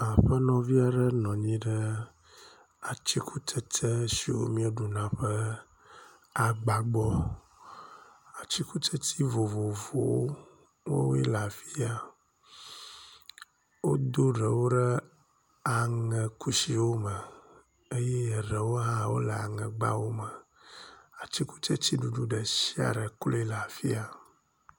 Aƒenɔvi aɖe nɔ anyi ɖe atikutsetse siwo mieɖuna ƒe agba gbɔ, atikutsetse vovovowo woawoe le afiya, wodo ɖewo ɖe aŋe kusiwo me eye eɖewo hã le aŋegba me. Atikutsetse ɖuɖu ɖe sia ɖe klui le afiya.